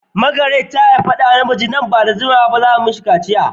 Margaret ta haifi namiji wanda nan ba da jimawa ba za a yi masa kaciya.